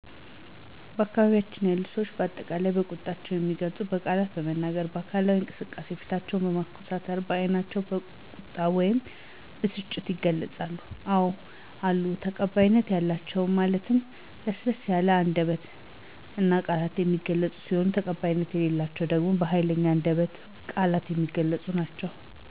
በአካባቢያችን ያሉ ሰዎች በአጠቃላይ ቁጣቸውን የሚገልፁት በቃላት በመናገር፣ በአካላዊ እንቅስቃሴ፣ ፊትን በማኮሳተርና በዕይታቸው ቁጣቸውን ወይም ብስጭታቸውን ይገልፃሉ። አዎ አሉ ተቀባይነት ያላቸው ማለት በለሰለሰ አንደበትና ቃላት የሚገለፁ ሲሆን ተቀባይነት የሌላቸው ግን በሀይለኛ አንደበትና ቃላት የሚገለፁ ናቸው።